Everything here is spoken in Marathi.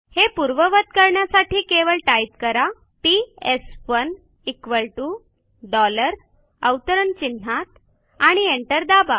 हे पूर्ववत करण्यासाठी केवळ टाईप करा पीएस1 equal टीओ डॉलर अवतरण चिन्हात आणि एंटर दाबा